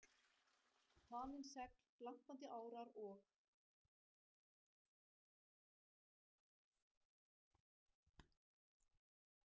Þanin segl, glampandi árar, og